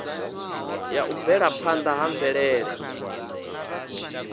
ya u bvelaphanda ha mvelele